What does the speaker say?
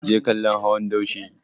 Ki je kallon hawan daushe!